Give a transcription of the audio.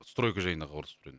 стройка жайында хабарласып тұр едім